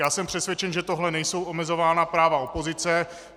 Já jsem přesvědčen, že tím nejsou omezována práva opozice.